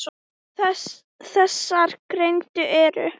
Þessar greinar eru